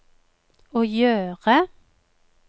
å gjøre